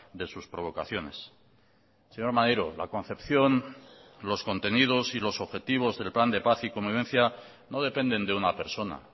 de sus provocaciones señor maneiro la concepción los contenidos y los objetivos del plan de paz y convivencia no dependen de una persona